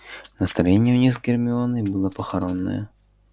настроение у них с гермионой было похоронное